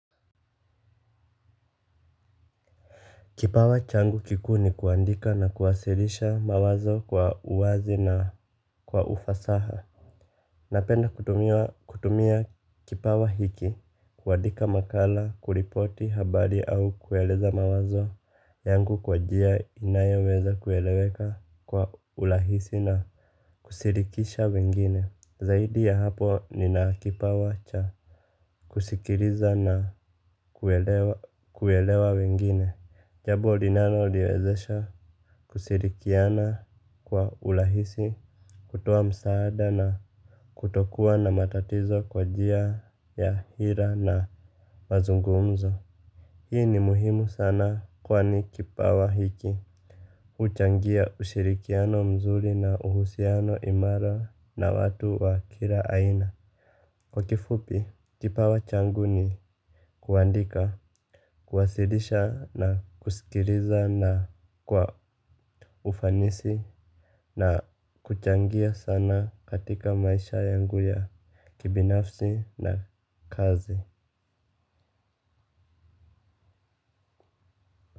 Kipawa changu kikuu ni kuandika na kuwasilisha mawazo kwa uwazi na kwa ufasaha. Napenda kutumia kipawa hiki, kuandika makala, kuripoti habari au kueleza mawazo yangu kwa njia inayo weza kueleweka kwa urahisi na kushirikisha wengine. Zaidi ya hapo nina kipawa cha kusikiliza na kuelewa wengine. Jambo linalo niwezesha kushirikiana kwa urahisi, kutoa msaada na kutokuwa na matatizo kwa njia ya hira na mazungumzo. Hii ni muhimu sana kwani kipawa hiki huchangia ushirikiano mzuri na uhusiano imara na watu wa kila aina. Kwa kifupi, kipawa changu ni kuandika, kuwasilisha na kusikiliza na kwa ufanisi na kuchangia sana katika maisha yangu ya kibinafsi na kazi.